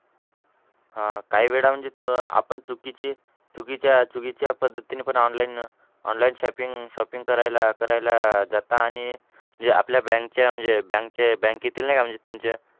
हां काही वेळा म्हणजे चु आपण चुकीची चुकीच्या चुकीच्या पद्धतीने पण online online shopping shopping करायला करायला जाता आणि म्हणजे आपल्या bank च्या म्हणजे bank चे bank तील नाही का म्हणजे तुमच्या,